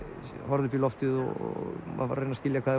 horfði upp í loftið og reyndi að skilja hvað